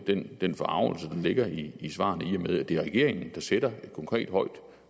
den den forargelse der ligger i svarene i og med at det er regeringen der sætter et konkret højt